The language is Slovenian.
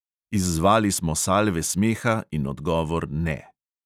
Izzvali smo salve smeha in odgovor ne.